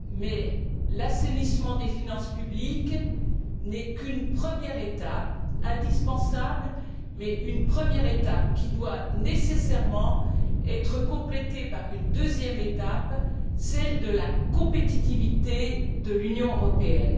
Mais l'assainissement des finances publiques n'est qu'une première étape, indispensable, mais une première étape qui doit nécessairement être complétée par une deuxième étape, celle de la compétitivité de l'Union européenne.